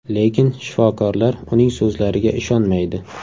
Lekin shifokorlar uning so‘zlariga ishonmaydi.